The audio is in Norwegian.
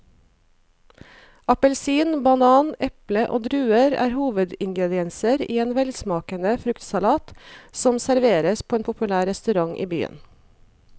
Appelsin, banan, eple og druer er hovedingredienser i en velsmakende fruktsalat som serveres på en populær restaurant i byen.